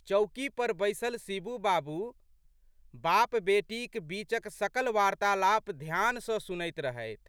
चौकी पर बैसल शिबू बाबू बापबेटीक बीचक सकल वार्त्तालाप ध्यान सँ सुनैत रहथि।